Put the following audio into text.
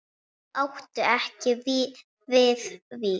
Þau áttu ekki Viðvík.